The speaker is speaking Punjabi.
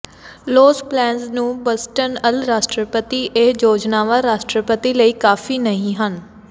ਲੋਸ ਪਲੇਨਜ਼ ਨੂ ਬਸਟਨ ਅਲ ਰਾਸ਼ਟਰਪਤੀ ਇਹ ਯੋਜਨਾਵਾਂ ਰਾਸ਼ਟਰਪਤੀ ਲਈ ਕਾਫੀ ਨਹੀਂ ਹਨ